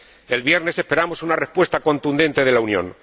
El viernes esperamos una respuesta contundente de la Unión.